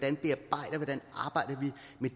det